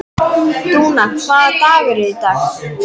Dúna, hvaða dagur er í dag?